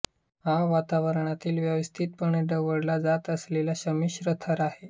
हा वातावरणातील व्यवस्थितपणे ढवळला जात असलेला संमिश्र थर आहे